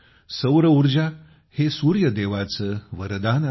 सौर ऊर्जाहे सूर्यदेवाचे वरदान आहे